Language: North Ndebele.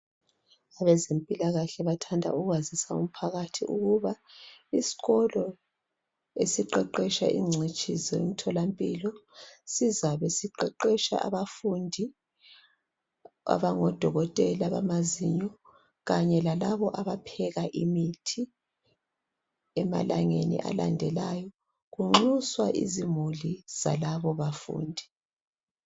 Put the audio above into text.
Abezempilakahle bathanda ukwazisa umphakathi ukuba isikolo esiqeqetsha ingcitshi zemtholampilo sizabe siqeqetsha abafundi abangodokotela bamazinyo kanye lalabo abapheka imithi emalangeni alandelayo. Kunxuswa izimuli zalabo bafundi.